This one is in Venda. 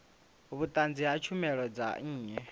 vhunzani ha tshumelo dza nnyi